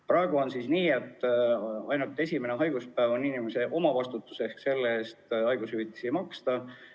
Praegu on nii, et ainult esimene haiguspäev on inimese omavastutus, selle eest haigushüvitist ei maksta.